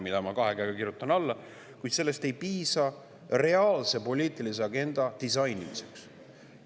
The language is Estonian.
Sellele ma kirjutan kahe käega alla, kuid sellest ei piisa reaalse poliitilise agenda disainimiseks.